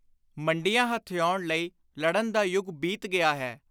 ਮੰਡੀਆਂ ਹਥਿਆਉਣ ਲਈ ਲੜਨ ਦਾ ਯੁਗ ਬੀਤ ਗਿਆ ਹੈ।